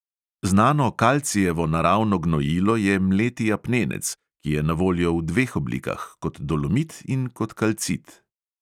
Znano kalcijevo naravno gnojilo je mleti apnenec, ki je na voljo v dveh oblikah, kot dolomit in kot kalcit.